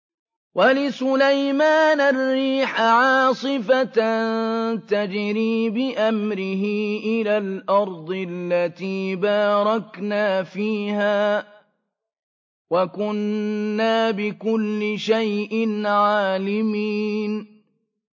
وَلِسُلَيْمَانَ الرِّيحَ عَاصِفَةً تَجْرِي بِأَمْرِهِ إِلَى الْأَرْضِ الَّتِي بَارَكْنَا فِيهَا ۚ وَكُنَّا بِكُلِّ شَيْءٍ عَالِمِينَ